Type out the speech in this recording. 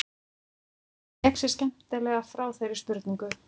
Hann vék sér skemmtilega frá þeirri spurningu.